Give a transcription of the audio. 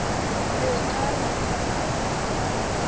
be a re o a